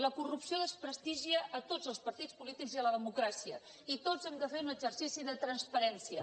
la cor·rupció desprestigia tots els partits polítics i la democrà·cia i tots hem de fer un exercici de transparència